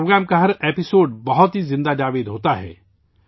اس programme کی ہر قسط بہت ہی زندہ ہوتی ہے